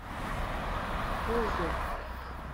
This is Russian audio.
познер